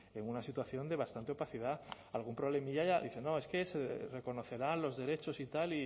en una situación de bastante opacidad algún problemilla dice no es que se reconocerán los derechos y tal